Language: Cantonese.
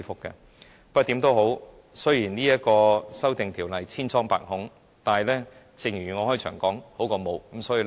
無論如何，雖然這項《條例草案》千瘡百孔，但正如我開始時所說，有總比沒有好。